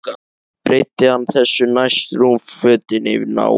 Breiddi hann þessu næst rúmfötin yfir náinn.